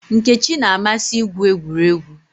Nkechi na-amasị igwu egwuregwu.